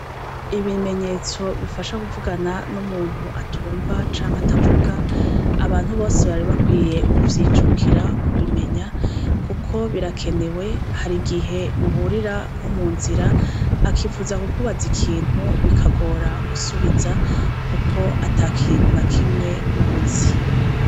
Ibimenyetso bifasha kuvugana n'umuntu atumva canke atavuga abantu bose bakwiye kuvyijukira bakabimenya kuko birakenewe, harigihe muhurira nko mu nzira akipfuza kukubaza ikintu bikagora gusubiza kuko atakintu na kimwe ub'uzi.